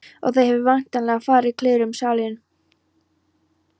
Og það hefur væntanlega farið kliður um salinn.